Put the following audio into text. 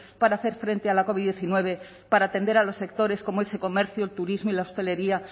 para hacer frente a la covid diecinueve para atender a los sectores como ese comercio turismo y la hostelería